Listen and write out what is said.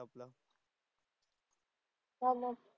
चाललंय.